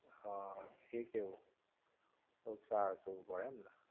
હા એ કેવો થોડું સાચવવું પડે એમને?